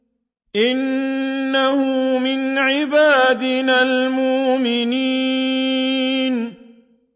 إِنَّهُ مِنْ عِبَادِنَا الْمُؤْمِنِينَ